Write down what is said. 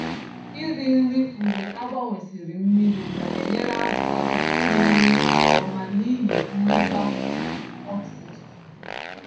Iri nri mgbe agbanwesịrị mmiri na-enyere azụ aka iri nri nke ọma n'ihi mmụba ikuku oxygen.